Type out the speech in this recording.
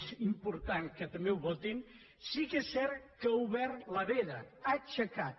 és important que també ho votin sí que és cert que ha obert la veda ha aixecat